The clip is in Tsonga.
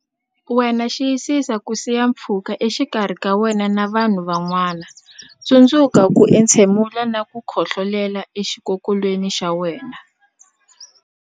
wena Xiyisisa ku siya pfhuka exikarhi ka wena na vanhu van'wana Tsundzuka ku entshemula na ku khohlolela exikokolweni xa wena